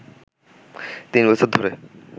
তিন বছর ধরে